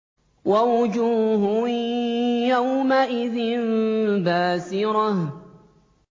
وَوُجُوهٌ يَوْمَئِذٍ بَاسِرَةٌ